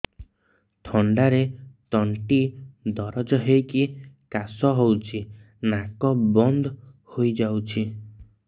ଥଣ୍ଡାରେ ତଣ୍ଟି ଦରଜ ହେଇକି କାଶ ହଉଚି ନାକ ବନ୍ଦ ହୋଇଯାଉଛି